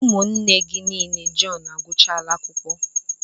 Ụmụnne gị niile Jọn agụchala akwụkwọ.